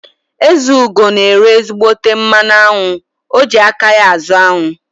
Ezeugo na ere ezígbóté mmanụ aṅụ, o ji aka ya azụ aṅụ